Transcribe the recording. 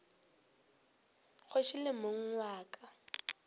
kgoši le mong wa ka